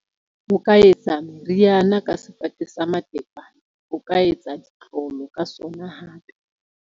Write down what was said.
O ka etsa moriana ka sefate sa matekwane, o ka etsa ditlolo ka sona hape.